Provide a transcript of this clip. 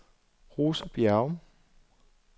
Rosa Bjerrum